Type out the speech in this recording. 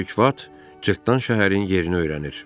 Böyük vat Cırtdan şəhərin yerini öyrənir.